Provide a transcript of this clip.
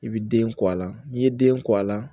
I bɛ den kɔ a la n'i ye den kɔ a la